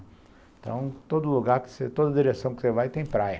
Então, todo lugar, toda direção que você vai, tem praia.